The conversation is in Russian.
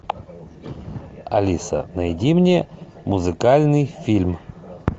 алиса найди мне музыкальный фильм